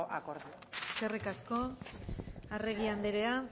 akordioa eskerrik asko arregi andrea